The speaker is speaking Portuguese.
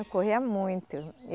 Corria muito.